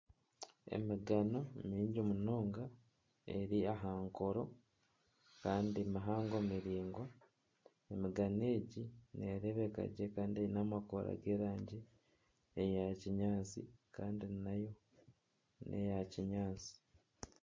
Emigano mingi munonga eri aha nkoro kandi mihango miraingwa emigano egi nereebeka gye kandi eine amakoora g'erangi eya kinyaatsi kandi nayo neya kinyaatsi.